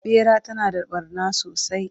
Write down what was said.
ɓera tana da ɓarna sosai